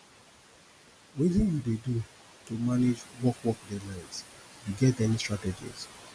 wetin you dey do to manage work work deadlines you get any strategies